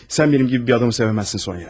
Sən mənim kimi bir adamı sevə bilməzsən, Sonya.